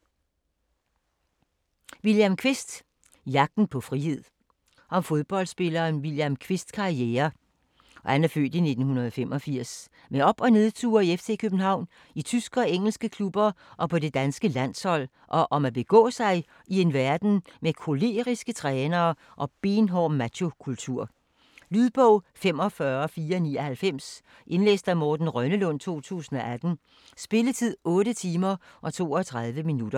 Kvist, William: Jagten på frihed Om fodboldspilleren William Kvists (f. 1985) karriere med op- og nedture i FC København, i tyske og engelske klubber og på det danske landshold, og om at begå sig i en verden med koleriske trænere og benhård machokultur. Lydbog 45499 Indlæst af Morten Rønnelund, 2018. Spilletid: 8 timer, 32 minutter.